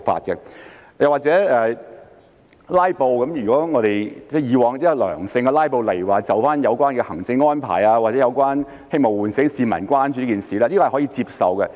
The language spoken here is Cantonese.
又例如"拉布"方面，如果以往是良性的"拉布"，例如就有關的行政安排或希望喚醒市民關注這件事，這是可以接受的。